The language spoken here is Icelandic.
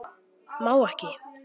Má ekki.